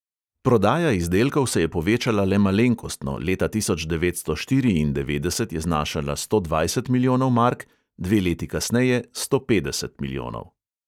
Prodaja izdelkov se je povečala le malenkostno, leta tisoč devetsto štiriindevetdeset je znašala sto dvajset milijonov mark, dve leti kasneje sto petdeset milijonov.